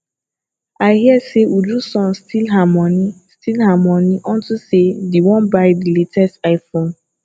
8i hear say uju son steal her money steal her money unto say dey wan buy the latest iphone